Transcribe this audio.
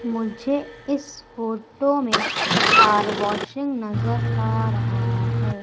मुझे इस फोटो में कार वॉशिंग नजर आ रहा है।